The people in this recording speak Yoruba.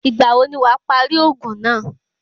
Ìgbà wo ni wàá parí òògùn náà?